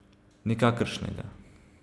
Nikakršnega.